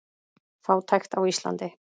Fátækt á Íslandi